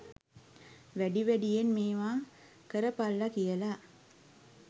වැඩි වැඩියෙන් මේවා කරපල්ල කියල.